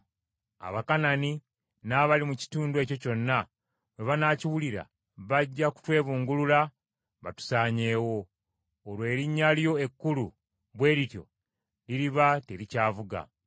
Abakanani n’abali mu kitundu ekyo kyonna bwe banaakiwulira bajja kutwebungulula batusaanyeewo. Olwo erinnya lyo ekkulu bwe lityo liriba terikyavuga.”